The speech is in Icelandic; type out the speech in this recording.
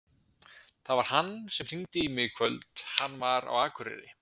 Það var hann sem hringdi í mig í kvöld. hann var á Akureyri.